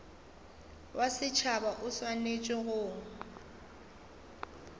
wa setšhaba o swanetše go